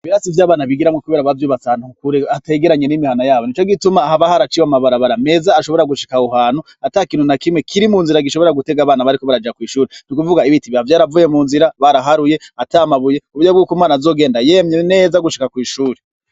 Basi vyo abana bigiramwo, kubera abazwi batantukukure ategeranye n'imihana yabo ni co gituma ahabahoaraciwe amabara bara meza ashobora gushika wuhanu ata kintu na kimwe kiri mu nzira gishobora gutega abana bariko baraja kw'ishuri ni ukuvuga ibiti ba vyoaravuye mu nzira baraharuye atamabuye uburyo bwuko imana azogenda yemye neza gushika kw'ishuri.